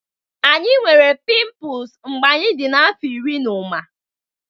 Anyị nwere pimples mgbe anyị dị afọ iri na ụma